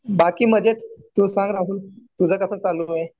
बाकी मजेत. तु सांग राहुल. तुझं कसं चालू आहे?